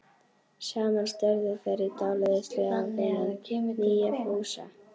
Saman störðu þær í dáleiðslu á þennan nýja Fúsa.